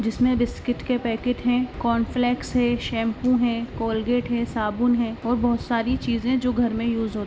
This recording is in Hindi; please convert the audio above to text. जिसमे बिस्किट के पैकेट है कांफ्लेक्स है सेंपू है कोलगेट है साबुन हैऔर बहुत सारी चीज़ें जो घर मे यूज होती हैं।